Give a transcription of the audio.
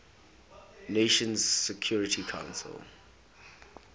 nations security council